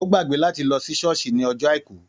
Ó gbàgbé láti lọ sí Ṣọ́ọ̀ṣì ní ọjọ́ Àìkú.